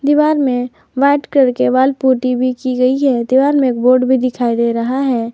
दीवार में white colour की वॉल पुटी भी की गई हैं दीवार में एक बोर्ड भी दिखाई दे रहा है।